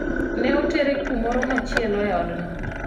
ne otere kumoro machielo e odno